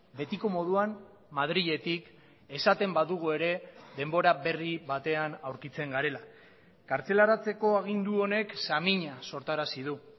betiko moduan madriletik esaten badugu ere denbora berri batean aurkitzen garela kartzelaratzeko agindu honek samina sortarazi du